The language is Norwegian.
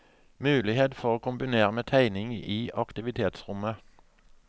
Mulighet for å kombinere med tegning i aktivitetsrommet.